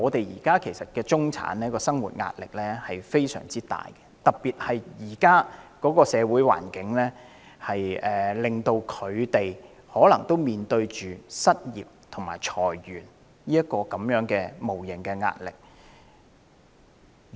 現時的中產人士生活壓力極大，特別在現今社會環境下，他們也可能面對失業及裁員的無形壓力。